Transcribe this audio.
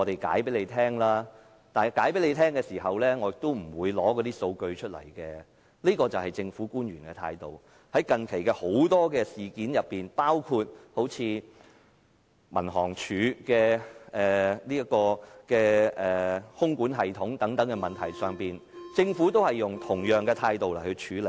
這便是政府官員的態度。在近期很多事件上，包括民航處的空管系統等問題上，政府均以同樣的態度處理。